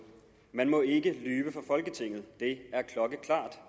man må ikke lyve for folketinget det er klokkeklart